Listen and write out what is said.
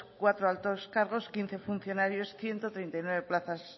cuatro altos cargos quince funcionarios ciento treinta y nueve plazas